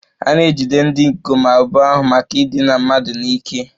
A na-ejide ndị ikom abụọ ahụ maka idina mmadụ n'ike